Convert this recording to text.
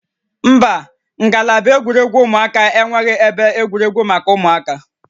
Mba, ngalaba egwuregwu ụmụaka enweghị ebe egwuregwu maka ụmụaka